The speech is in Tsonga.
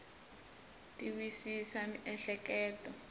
ti wisisa miehleketo